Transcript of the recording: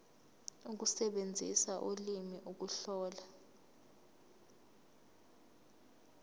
ukusebenzisa ulimi ukuhlola